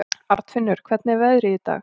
Arnfinnur, hvernig er veðrið í dag?